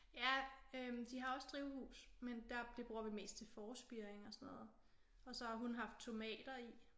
Ja øh de har også drivhus men det bruger vi mest til forspiring og sådan noget og så har hun haft tomater i